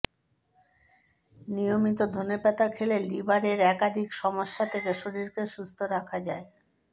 নিয়মিত ধনেপাতা খেলে লিভারের একাধিক সমস্যা থেকে শরীরকে সুস্থ রাখা যায়